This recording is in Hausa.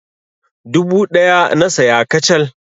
Dubu ɗaya na saya kacal.